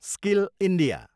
skill India